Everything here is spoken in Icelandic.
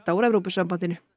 úr Evrópusambandinu